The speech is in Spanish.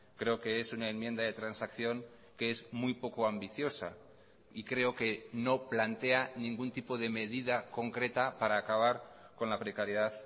creo que es una enmienda de transacción que es muy poco ambiciosa y creo que no plantea ningún tipo de medida concreta para acabar con la precariedad